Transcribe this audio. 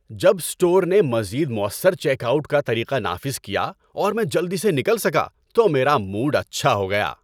جب اسٹور نے مزید مؤثر چیک آؤٹ کا طریقہ نافذ کیا اور میں جلدی سے نکل سکا تو میرا موڈ اچھا ہو گیا۔